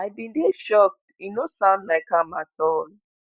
"i bin dey shocked e no sound like am at all.